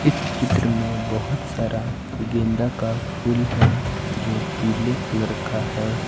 इस चित्र में बहुत सारा गेंदा का फूल है जो पीले कलर का है।